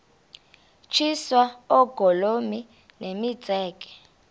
tyiswa oogolomi nemitseke